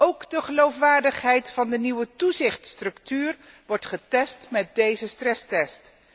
Ook de geloofwaardigheid van de nieuwe toezichtstructuur wordt getest met deze stresstest.